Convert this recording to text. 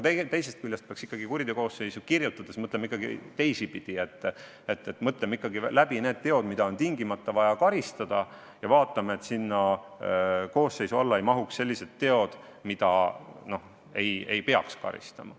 Teisest küljest peaks siiski kuriteokoosseisu kirja pannes mõtlema ka teisipidi: peab ikkagi kirja panema need teod, mille eest on tingimata vaja karistada, ja vaatama, et selle koosseisu alla ei satuks teod, mille eest ei peaks karistama.